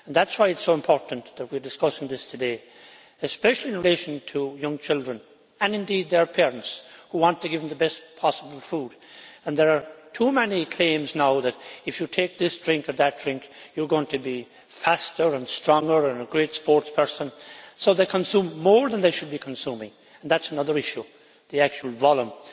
That is why it is so important that we are discussing this today, especially in relation to young children and indeed their parents who want to give them the best possible food. There are too many claims now that if you take this drink or that drink you are going to be faster and stronger and a great sports person, so they consume more than they should be consuming and that is another issue, the actual volume.